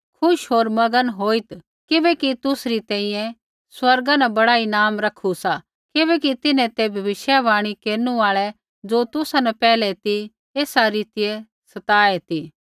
खुश होर मगन होईत् किबैकि तुसरी तैंईंयैं स्वर्गा न बड़ा ईनाम रखू सा किबैकि तिन्हैं ते भविष्यवाणी केरनु आल़ा ज़ो तुसा न पैहलै ती एसा रीतियै सताऐ ती